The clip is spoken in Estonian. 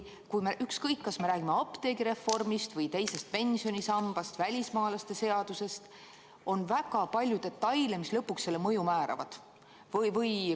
Ükskõik, kas me räägime apteegireformist või teisest pensionisambast, välismaalaste seadusest – on väga palju detaile, mis lõpuks seaduse mõju määravad.